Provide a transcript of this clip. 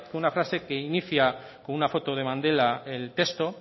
una frase que inicia con una foto de mandela el texto